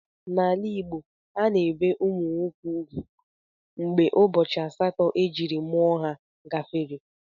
N'ala Igbo,a na-ebe ụmụ nwoke ugwu mgbe ụbọchị asatọ ejiri mụọ ha gafere.